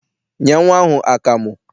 Nye nnwa ahụ akamụ!